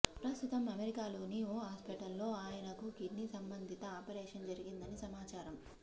ప్రస్తుతం అమెరికాలోని ఓ హాస్పిటల్ లో ఆయనకు కిడ్నీ సంబంధిత ఆపరేషన్ జరుగిందని సమాచారం